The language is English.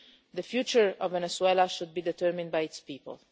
The future of Venezuela should be determined by its people.